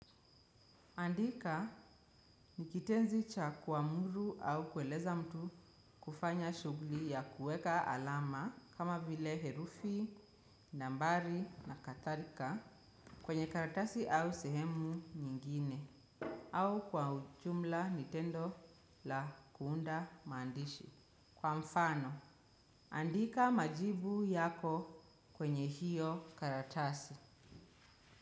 Andika ni kitenzi cha kuamuru au kueleza mtu kufanya shughuli ya kueka alama kama vile herufi, nambari na kadhalika kwenye karatasi au sehemu nyingine au kwa ujumla ni tendo la kuunda mandishi. Kwa mfano, andika majibu yako kwenye hiyo karatasi.